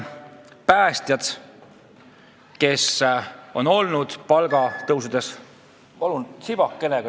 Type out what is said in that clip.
Palun tsipake lisaaega!